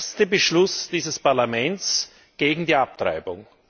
Es ist der erste Beschluss dieses Parlaments gegen die Abtreibung.